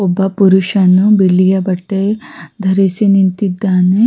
ಈ ಚಿತ್ರ ನೋಡಬಹುದಾದರೆ ಕೂದಲು ಕತ್ತರಿಸುವ ಅಂಗಡಿ ಇದೆ ಇಲ್ಲಿ --